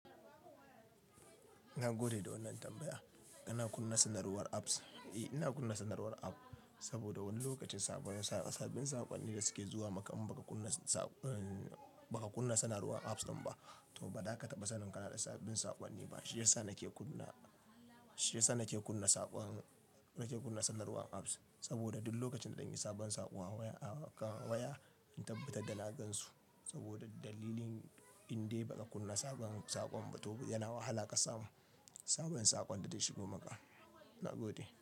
Nagode da wannan tambaya. Ina kunna sanarwar apps, eh ina kunna sanarwar app saboda wani lokacin sabbin saƙonni da suke zuwa maka in baka kunna, ehh baka kunna sanarwar apps din ba, to ba za ka taɓa sanin ka na da sabbin saƙonni ba. Shi ya sa nake sanarwar apps saboda duk lokacin da sabon sakon waya zan tabbatar na gan su saboda dalilin indai ba ka kunna sabon saƙon ba to yana wahala ka samu sabbin saƙon da ta shigo maka. Ina gode.